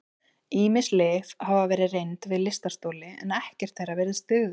Ýmis lyf hafa verið reynd við lystarstoli en ekkert þeirra virðist duga.